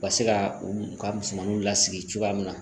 Ka se ka u ka musomanuw lasigi cogoya min na